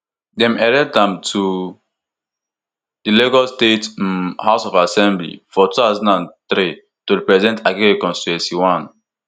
dem elect am to di lagos state um house of assembly for two thousand and three to represent agege constituency one